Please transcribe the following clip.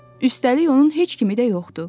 Üstəlik onun heç kimi də yoxdu.